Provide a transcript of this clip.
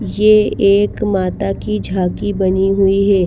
ये एक माता की झांकी बनी हुई है।